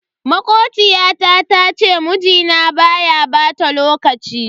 Makociyata ta ce mun mijinta baya bata lokaci.